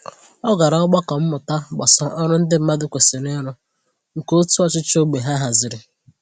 Ọ gara ogbako mmụta gbasà ọrụ ndị mmadụ kwesịrị ịrụ, nke òtù ọchịchị ógbè ha haziri.